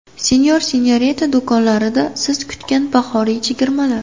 Senor&Senorita do‘konlarida siz kutgan bahoriy chegirmalar!.